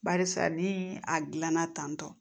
Barisa ni a gilanna tantɔ